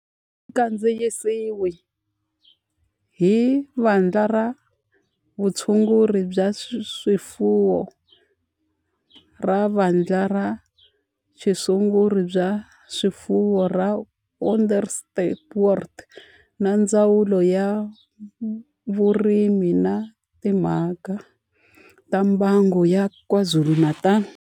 Kandziyisiwe hi Vandla ra Vutshunguri bya swifuwo ra Vandla ra Vutshunguri bya swifuwo ra Onderstepoort na Ndzawulo ya Vurimi na Timhaka ta Mbango ya KwaZulu-Natal.